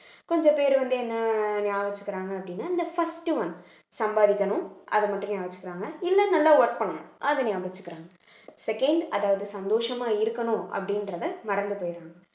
கொஞ்ச பேரு வந்து என்னை நியாபகம் வச்சுக்கிறாங்க அப்படின்னா இந்த first one சம்பாதிக்கணும் அதை மட்டும் நியாபகம் வச்சிக்கிறாங்க இல்லை நல்லா work பண்ணணும் அதை நியாபகம் வச்சிக்கிறாங்க second அதாவது சந்தோஷமா இருக்கணும் அப்படின்றதை மறந்து போயிறாங்க